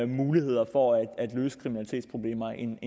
muligheder for at løse kriminalitetsproblemer end